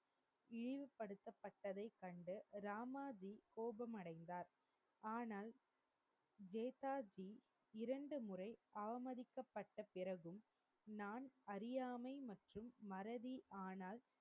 இழிவுபடுத்தப்பட்டதை கண்டு ராமாஜி கோபமடைந்தார் ஆனால் நேதாஜி இரண்டு முறை அவமதிக்கப்பட்ட பிறகும் நான் அறியாமை மற்றும் மறதி ஆனால்